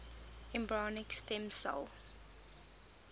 embryonic stem cell